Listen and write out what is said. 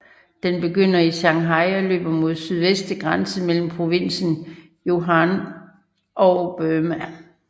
Den begynder i Shanghai og løber mod sydvest til grænsen mellem provinsen Yunnan og Burma